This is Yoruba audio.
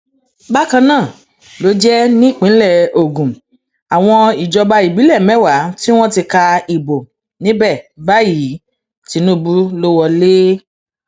bákan náà ló jẹ nípínlẹ ogun àwọn ìjọba ìbílẹ mẹwàá tí wọn ti ka ìbò níbẹ báyìí tìǹbù ló wọlẹ